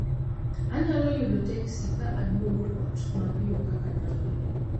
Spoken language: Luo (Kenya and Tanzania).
Anyalo yudo teksi ka aduogo ot mapiyo kaka nyalore